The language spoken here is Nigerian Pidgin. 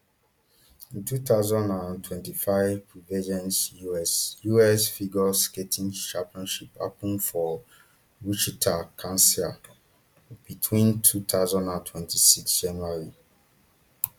di two thousand and twenty-five prevagen us us figure skating championships happun for wichita kansas between two thousand and twenty-six january